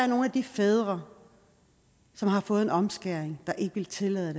nogle af de fædre som har fået en omskæring der ikke vil tillade at